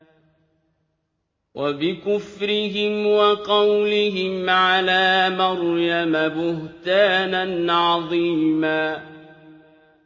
وَبِكُفْرِهِمْ وَقَوْلِهِمْ عَلَىٰ مَرْيَمَ بُهْتَانًا عَظِيمًا